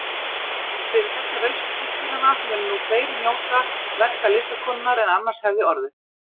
Fyrir þessa rausn systkinanna munu nú fleiri njóta verka listakonunnar en annars hefði orðið.